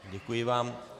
Děkuji vám.